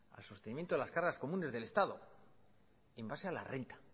al sostenimiento de las cargas comunes del estado en base a la renta